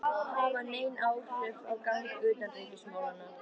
hafa nein áhrif á gang utanríkismálanna.